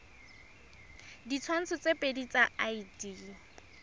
ditshwantsho tse pedi tsa id